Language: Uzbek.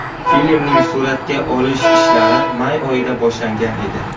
Filmning suratga olish ishlari may oyida boshlangan edi.